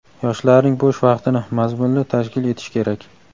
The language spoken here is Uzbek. yoshlarning bo‘sh vaqtini mazmunli tashkil etish kerak.